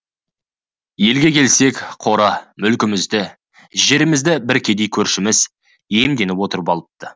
елге келсек қора мүлкімізді жерімізді бір кедей көршіміз иемденіп отырып алыпты